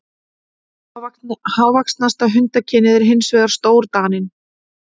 Hávaxnasta hundakynið er hins vegar stórdaninn.